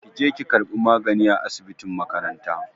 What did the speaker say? Ki je ki ƙarɓi magani a asibitin makaranta!